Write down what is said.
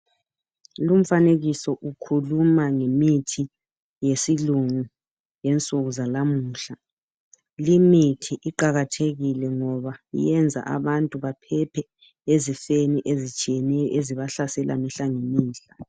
Lumfanekiso ukhuluma ngemithi yesilungu yalensuku zalamuhla. Limithi iqakathekile ngoba yenza abantu besile emkhuhlanenile ebehlaselayo kulezinsuku.